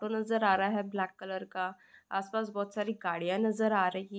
auto नजर आ रहा है ब्लैक कलर का आस-पास बहुत सारी गाड़ियां नजर आ रही --